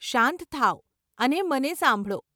શાંત થાવ અને મને સાંભળો.